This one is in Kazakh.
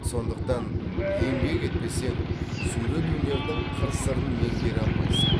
сондықтан еңбек етпесең сурет өнерінің қыр сырын меңгере алмайсың